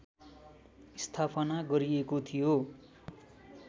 स्थापना गरिएको थियो